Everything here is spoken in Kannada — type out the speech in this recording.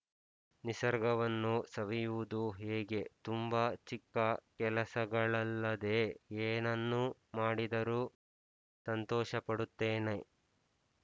ನಿಸರ್ಗವನ್ನು ಸವಿಯುವುದು ಹೀಗೆ ತುಂಬ ಚಿಕ್ಕ ಕೆಲಸಗಳಲ್ಲದೆ ಏನನ್ನು ಮಾಡಿದರೂ ಸಂತೋಷಪಡುತ್ತೇನೆ